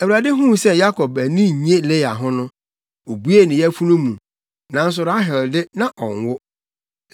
Awurade huu sɛ Yakob ani nnye Lea ho no, obuee ne yafunu mu, nanso Rahel de, na ɔnwo.